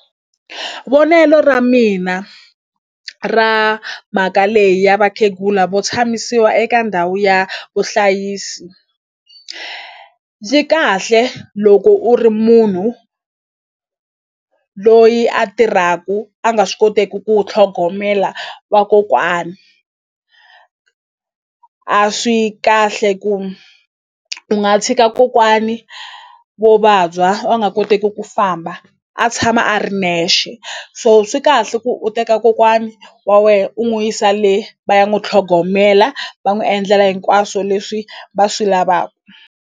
Vonelo ra mina ra mhaka leyi ya vakhegula vo tshamisiwa eka ndhawu ya vuhlayisi kahle loko u ri munhu loyi a tirhaku a nga swi koteku ku tlhogomela vakokwani a swi kahle ku u nga tshika kokwani vo vabya va nga koteki ku famba a tshama a ri nexe so swi kahle ku u teka kokwani wa we u n'wi yisa le va ya n'wu tlhogomela va n'wu endlela hinkwaswo leswi va swi .